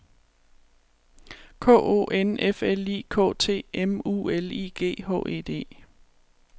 K O N F L I K T M U L I G H E D